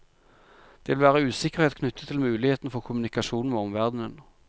Det vil være usikkerhet knyttet til muligheten for kommunikasjon med omverdenen.